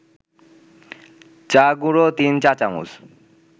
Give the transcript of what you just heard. চা-গুঁড়ো ৩ চা-চামচ